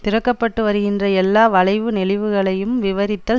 திறக்கப்பட்டு வருகின்ற எல்லா வளைவு நெளிவுகளையும் விவரித்தல்